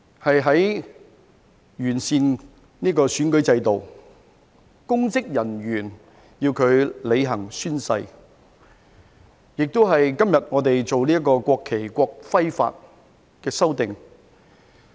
我們完善了選舉制度，公職人員要履行宣誓，今天我們亦進行了《國旗及國徽條例》的修訂。